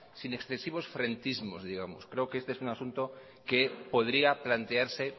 sin excesivos frentismos digamos creo que este es un asunto que podría plantearse